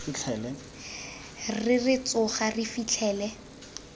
re re tsoga re fitlhele